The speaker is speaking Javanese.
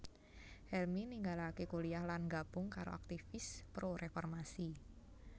Helmy ninggalaké kuliyah lan nggabung karo aktivis pro reformasi